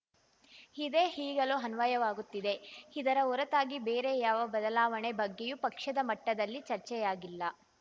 ಇದೇ ಈಗಲೂ ಅನ್ವಯವಾಗುತ್ತಿದೆ ಇದರ ಹೊರತಾಗಿ ಬೇರೆ ಯಾವ ಬದಲಾವಣೆ ಬಗ್ಗೆಯೂ ಪಕ್ಷದ ಮಟ್ಟದಲ್ಲಿ ಚರ್ಚೆಯಾಗಿಲ್ಲ